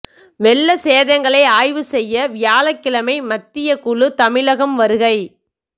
வெள்ள சேதங்களை ஆய்வு செய்ய வியாழக்கிழமை மத்தியக் குழு தமிழகம் வருகை